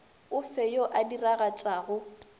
o fe yo a diragatšago